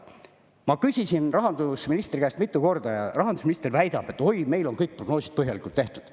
Ma küsisin rahandusministri käest mitu korda ja rahandusminister väidab, et oi, meil on kõik prognoosid põhjalikult tehtud.